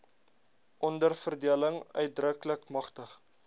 onderverdeling uitdruklik magtig